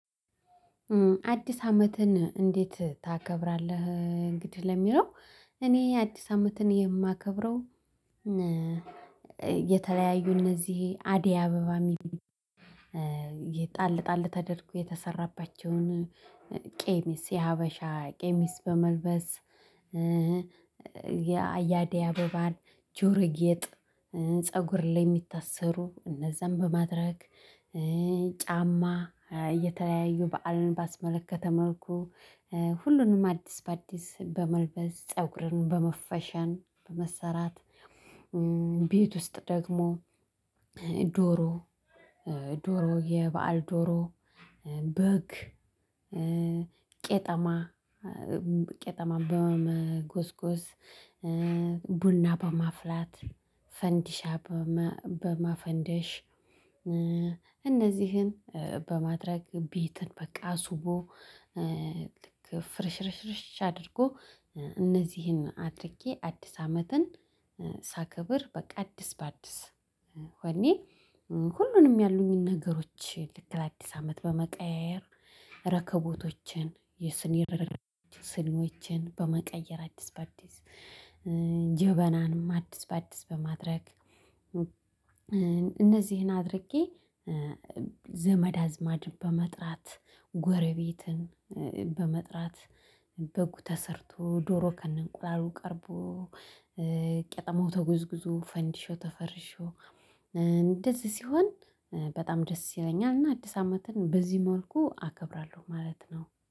አዲስ አመትን እንዴት ታከብራለህ እንግዲህ ለሚለው? እኔ አዲስ አመትን የማከብረው የተለያዩ እነዚህ አደይ አበባ የሚል የጣል ጣል ተደርጎ የተሰራባቸውን ቄሚስ የሀበሻ ቄሚስ በመልበስ የአያዴ አበባን ጆሮ ጌጥ ፀጉር ላይ የሚታሰሩ እነዛን በማድረግ ጫማ እየተለያዩ በዓልን ባስመለከተ መልኩ ሁሉንም አዲስ በአዲስ በመልበስ ፀጉርን በመፈሸን በመሰራት። ቤት ውስጥ ደግሞ ዶሮ የበአል ዶሮ በግ ቄጠማ ቄጠማ በመጎዝጎዝ ቡና በማፍላት ፈንዲሻ በማፈንደሽ እነዚህን በማድረግ ቤትን በቃ አስዉቦ። ፍርሽርሽርሽ አድርጎ እነዚህን አድርጌ አዲስ አመትን ሳከብር በቃ አዲስ በአዲስ ሆኔ ሁሉንም ያሉኝን ነገሮች ልክ ለአዲስ አመት በመቀያየር ረከቦቶችን የስኒ ስኒዎችን በመቀየር አዲስ በአዲስ ጀበናንም አዲስ በአዲስ በማድረግ። እነዚህን አድርጌ ዘመድ አዝማድን በመጥራት ጎረቤትን በመጥራት በጉ ተሰርቶ ዶሮ ከነ እንቁላሉ ቀርቦ ቄጠማው ተጎዝጉዞ ፈንዲሻው ተፈርሾ እንደዚህ ሲሆን በጣም ደስ ይለኛል። እና አዲስ አመትን በዚህ መልኩ አከብራለሁ ማለት ነው